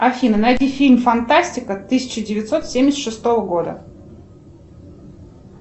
афина найди фильм фантастика тысяча девятьсот семьдесят шестого года